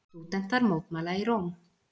Stúdentar mótmæla í Róm